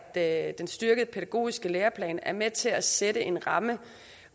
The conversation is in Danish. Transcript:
at den styrkede pædagogiske læreplan er med til at sætte en ramme